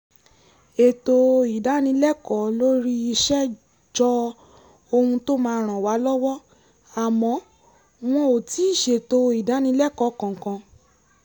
ètò ìdánilẹ́kọ̀ọ́ lórí iṣẹ́ jọ ohun tó máa ràn wá lọ́wọ́ àmọ́ wọn ò tíì ṣètò ìdánilẹ́kọ̀ọ́ kankan